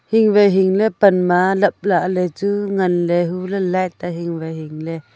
hing wai hingle pan ma lap lah ley chu ngan ley .